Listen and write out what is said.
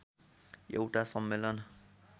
एउटा सम्मेलन